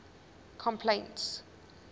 complaints